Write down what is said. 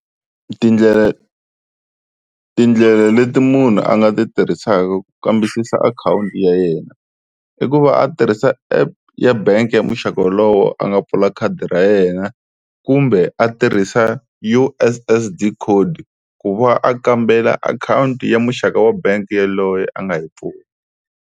Tindlela, tindlela leti munhu a nga ti tirhisaka ku kambisisa akhawunti ya yena, i ku va a tirhisa app ya bangi ya muxaka wolowo a nga pfula khadi ra yena kumbe a tirhisa U_S_S_D code ku va a kambela akhawunti ya muxaka wa bangi yaloye a nga yi pfula.